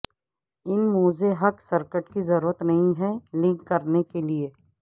ان موزے hook circuit کی ضرورت نہیں ہے لنک کرنے کے لئے